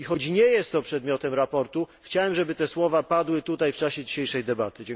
I choć nie jest to przedmiotem sprawozdania, chciałem, żeby te słowa padły tutaj w czasie dzisiejszej debaty.